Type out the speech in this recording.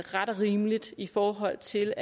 ret og rimeligt i forhold til